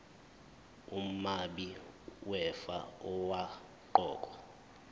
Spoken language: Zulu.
umabi wefa owaqokwa